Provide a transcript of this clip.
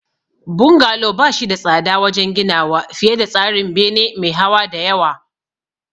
Bungalow ba shi da tsada wajen ginawa fiye da tsarin bene me hawa da yawa.